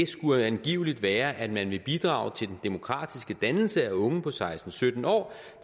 skulle angiveligt være at man vil bidrage til den demokratiske dannelse af unge på seksten til sytten år